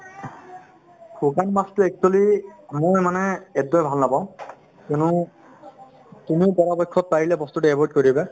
শুকান মাছতো actually মই মানে একদমে ভাল নাপাওঁ কিয়নো তুমি পৰাপক্ষত পাৰিলে বস্তুতো avoid কৰিবা